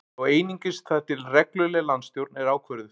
Þó einungis þar til að regluleg landsstjórn er ákvörðuð